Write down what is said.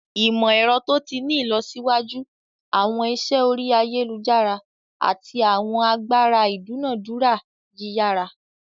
Imọ-ẹrọ to ti ni ilọsiwaju, awọn iṣẹ ori ayelujara, ati awọn agbara idunadura yiyara.